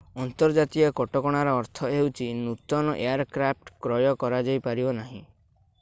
ଅନ୍ତର୍ଜାତୀୟ କଟକଣାର ଅର୍ଥ ହେଉଛି ନୂତନ ଏୟାରକ୍ରାଫ୍ଟ କ୍ରୟ କରାଯାଇପାରିବ ନାହିଁ